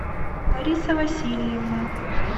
лариса васильевна